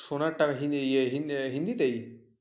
সোনার টাকা হি ইয়া হিন্দিতে?